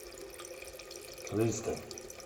рыльска